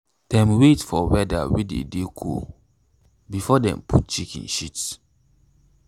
dem wait for weather way dey dey cool before them put chicken shits